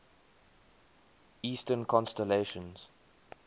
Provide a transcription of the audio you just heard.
eastern constellations